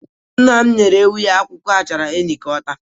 Nna m nyere ewu ya akwụkwọ achara enyi ka ọ taa.